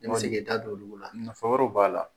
I man se k'i da don olu la nafa wɛrɛw b'a la.